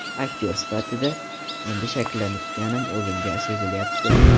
Aktyor sifatida endi shakllanayotganim o‘zimga sezilyapti.